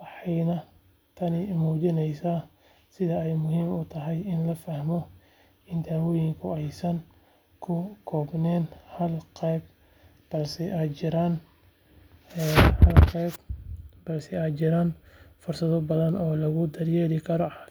waxayna tani muujinaysaa sida ay muhiim u tahay in la fahmo in dawooyinku aysan ku koobnayn hal qaab balse ay jiraan fursado badan oo lagu daryeeli karo caafimaadka.